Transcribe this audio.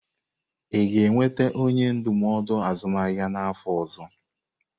Ị ga-enweta onye ndụmọdụ azụmahịa n'afọ ọzọ?